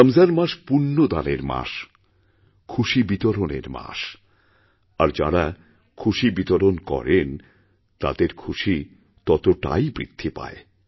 রমজান মাস পূণ্য দানের মাস খুশি বিতরণের মাস আরযাঁরা খুশি বিতরণ করেন তাঁদের খুশি ততটাই বৃদ্ধি পায়